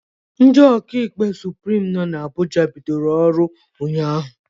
Ndị ụkọ ikpe Suprim nọ na Abuja bidoro ọrụ ụnyaahụ